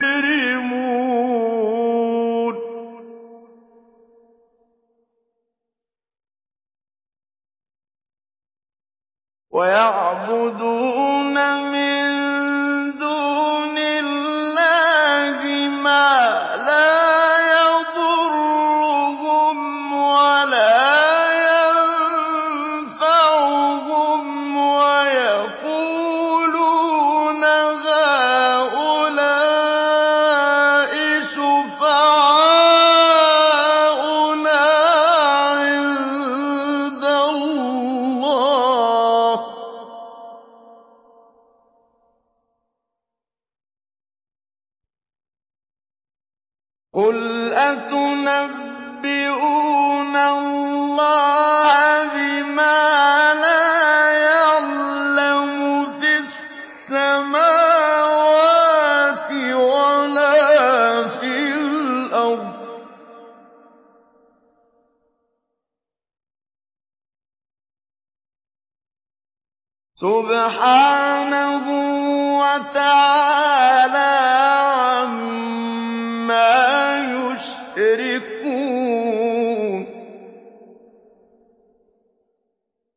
وَيَعْبُدُونَ مِن دُونِ اللَّهِ مَا لَا يَضُرُّهُمْ وَلَا يَنفَعُهُمْ وَيَقُولُونَ هَٰؤُلَاءِ شُفَعَاؤُنَا عِندَ اللَّهِ ۚ قُلْ أَتُنَبِّئُونَ اللَّهَ بِمَا لَا يَعْلَمُ فِي السَّمَاوَاتِ وَلَا فِي الْأَرْضِ ۚ سُبْحَانَهُ وَتَعَالَىٰ عَمَّا يُشْرِكُونَ